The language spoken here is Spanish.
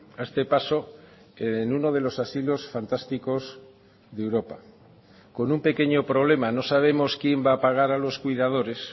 a este paso en uno de los asilos fantásticos de europa con un pequeño problema no sabemos quién va a pagar a los cuidadores